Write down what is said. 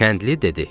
Kəndli dedi: